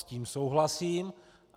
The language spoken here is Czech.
S tím souhlasím.